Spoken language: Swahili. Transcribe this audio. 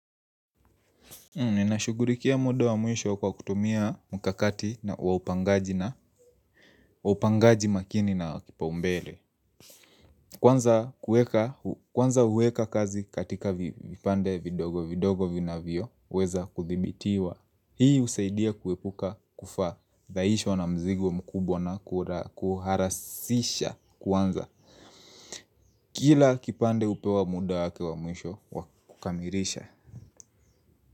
Ninashughulikia muda wa mwisho kwa kutumia mkakati wa upangaji na upangaji makini na kipaumbele. Kwanza kueka kwanza huweka kazi katika vipande vidogo vidogo vinavyo weza kuthibitiwa. Hii husaidia kuepuka kufadhaishwa na mzigo mkubwa na kuharasisha kwanza. Kila kipande hupewa muda wake wa mwisho wa kukamilisha.